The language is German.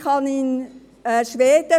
Ich habe Freunde in Schweden.